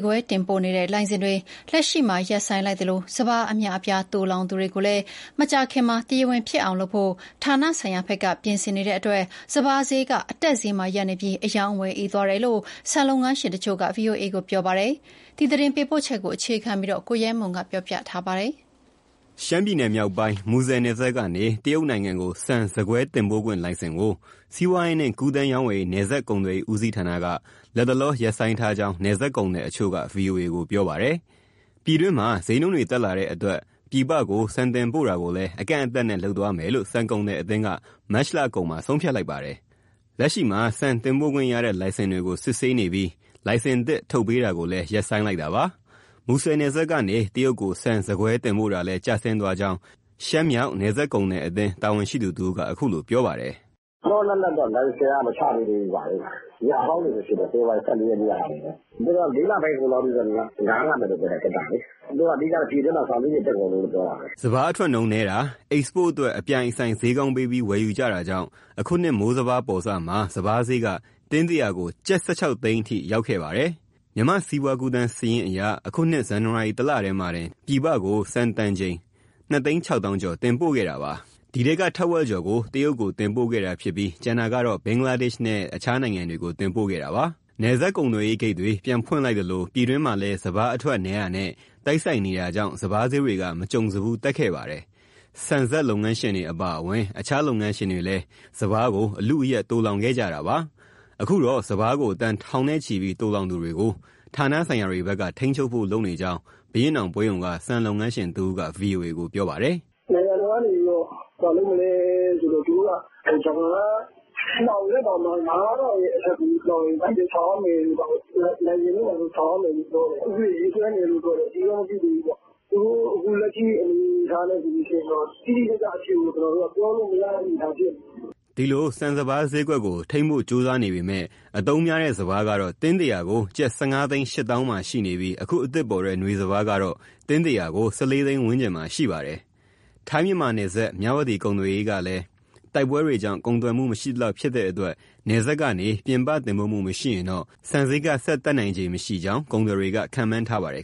ကွဲတင်ပို့တဲ့လိုင်စင်ကို လတ်တလောမှာ ရပ်ဆိုင်းလိုက်သလို စပါး အများအပြားသိုလှောင်သူတွေကိုလည်း မကြာခင် တရားဝင်ဖြစ်အောင်လုပ်ဖို့ ဌာနဆိုင်ရာဘက်က ပြင်ဆင်နေတာကြောင့် စပါးဈေးက အတက်ဈေးမှာရပ်နေပြီး အရောင်းအဝယ်အေးသွားကြောင်း ဆန်လုပ်ငန်းရှင်တချို့က ဗွီအိုအေကို ပြောပါတယ်။ ဒီသတင်းပေးပို့ချက်ကို အခြေခံပြီး ကိုရဲမွန်က တင်ပြပေးထားပါတယ်။ ရှမ်းပြည်နယ်မြောက်ပိုင်း၊ မူဆယ်နယ်စပ်ကနေ တရုတ်နိုင်ငံကို ဆန်၊ ဆန်ကွဲ တင်ပို့ခွင့်လိုင်စင်ကို စီးပွားရေးနှင့်ကူးသန်းရောင်းဝယ်ရေး၊ နယ်စပ်ကုန်သွယ်ရေး ဦးစီးဌာနက လက်တလောရပ်ဆိုင်းထားကြောင်း နယ်စပ်ကုန်သည်တချို့က ဗွီအိုအေကို ပြောပါတယ်။ ပြည်တွင်းမှာ ဈေးနှုန်းတက်လာတဲ့အတွက် ပြည်ပကို ဆန်တင်ပို့တာကိုလည်း အကန့်အသတ်နဲ့လုပ်သွားမယ်လို့ ဆန်ကုန်သည်အသင်းက မတ်လကုန်ပိုင်းမှာ ဆုံးဖြတ်လိုက်ပါတယ်။ လက်ရှိမှာ ဆန်တင်ပို့ခွင့်ရတဲ့လိုင်စင်တွေကိုစစ်ဆေးနေပြီး လိုင်စင်သစ်ထုတ်ပေးတာကိုရပ်ဆိုင်းလိုက်တာပါ။ မူဆယ်နယ်စပ်ကနေ တရုတ်ကို ဆန်၊ ဆန်ကွဲတင် ပို့တာလည်းကျဆင်းသွားကြောင်း ရှမ်းမြောက်နယ်စပ်ကုန်သည်အသင်း တာဝန်ရှိသူတဦးက အခုလိုပြောပါတယ်။ "လောလောလတ်လတ်တော့ လိုင်စင် မချပေးသေးဘူး။ အဟောင်းတွေပဲရှိသေးတယ်။ ဖေဖော်ဝါရီ ၁၄ ရက်ကဟာတွေပဲ။ သူတို့ကတော့ ၄ လပိုင်းကုန်ထိ ခေတ္တ နားထားမယ်ပြောတယ်။ သူတို့ကတော့ အဓိက ပြည်တွင်းမှာ ဆန်ဈေးတွေ တက်ကုန်လို့တော့ ပြောတာပဲ။" စပါးအထွက်နှုန်းနည်းတာ၊ အိတ်စပို့အတွက် အပြိုင်အဆိုင် ဈေးကောင်းပေးပြီး ဝယ်ယူကြတာကြောင့် အခုနှစ် မိုးစပါးပေါ်စမှာ စပါးဈေးက တင်းတရာကို ကျပ် ၁၆ သိန်းအထက်ထိ ရောက်ခဲ့ပါတယ်။ မြန်မာ့စီးပွားကူးသန်းစာရင်းအရ အခုနှစ် ဇန်နဝါရီတလတည်းမှာတင် ပြည်ပကိုဆန်တန်ချိန် ၂၆၀,၀၀၀ ကျော် တင်ပို့ခဲ့တာပါ။ ဒီထဲက ထက်ဝက်ကျော်ကို တရုတ်ကိုတင်ပို့ခဲ့တာဖြစ်ပြီး ကျန်တာကတော့ ဘင်္ဂလားဒေ့ရှ်နဲ့ နိုင်ငံတချို့ကို တင်ပို့ခဲ့တာပါ။ နယ်စပ်ကုန်သွယ်ရေးဂိတ်တွေ ပြန်ဖွင့်လိုက်သလို ပြည်တွင်းမှာလည်း စပါးအထွက်နည်းတာနဲ့ တိုက်ဆိုင်နေတာကြောင့် စပါးဈေးတွေက မကြုံစဖူးတက်ခဲ့ပါတယ်။ ဆန်စက်လုပ်ငန်းရှင်တွေအပါအဝင် တခြားလုပ်ငန်းရှင်တွေလည်း စပါးကို အလုအယက် သိုလှောင်ခဲ့ကြတာပါ။ အခုတော့ စပါးကို တန်ထောင်နဲ့ချီပြီး သိုလှောင်သူတွေကို ဌာနဆိုင်ရာတွေဘက်က ထိန်းချုပ်ဖို့လုပ်နေကြောင်း ဘုရင့်နောင်ပွဲရုံက ဆန်လုပ်ငန်းရှင်တဦးက ဗွီအိုအေကို ပြောပါတယ်။ "နိုင်ငံတော်ကနေ သူတို့က စပါးလှောင်တဲ့သူ ငါးထောင်အထက် လှောင်ရင် လိုင်စင်ဆောင်ရမယ်တို့ ဘာတို့ပြောတယ်။ ဥပဒေ ရေးဆွဲနေတယ်လို့ ပြောတယ်။ အတည်တော့ မပြုသေးဘူး။ သူတို့လက်ရှိ အနေအထားနဲ့ဆိုရင် တိတိကျကျအဖြေကို ကျနော်တို့ ပြောလို့ မရသေးဘူး ဖြစ်နေတယ်။" အခုလို ဆန်၊ စပါးဈေးကွက်ကို ထိန်းဖို့ကြိုးစားနေပေမဲ့ အသုံးများတဲ့စပါးကတော့ တင်းတရာကို ကျပ် ၁,၅၈၀,၀၀၀ မှာရှိနေပြီး အခုအသစ်ပေါ်တဲ့ နွေစပါးကတော့ တင်းတရာကို ၁၄ သိန်းဝန်းကျင်မှာ ရှိပါတယ်။ ထိုင်း-မြန်မာနယ်စပ် မြဝတီကုန်သွယ်ရေးကလည်း တိုက်ပွဲတွေကြောင့် ကုန်သွယ်မှု မရှိသလောက်ဖြစ်တဲ့အတွက် နယ်စပ်ကနေ ပြည်ပတင်ပို့မှုမရှိရင်တော့ ဆန်ဈေးက ဆက်တက်နိုင်ခြေမရှိကြောင်း ကုန်သည်တွေက ခန့်မှန်းထားပါတယ်